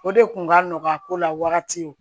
O de kun ka nɔgɔ a ko la wagati ye